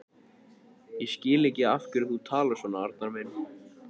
Ég skil ekki af hverju þú talar svona, Arnar minn.